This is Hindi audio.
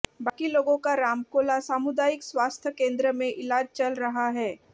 बाकी लोगों का रामकोला सामुदायिक स्वास्थ्य केंद्र में इलाज चल रहा है